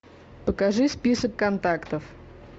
покажи список контактов